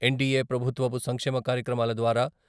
NDA ప్రభుత్వపు సంక్షేమ కార్యక్రమాల ద్వారా.